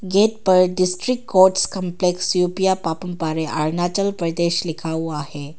Gate पर district courts complex Yupia पापंपारें अरुणाचल प्रदेश लिखा हुआ है।